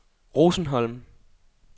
Rosenholm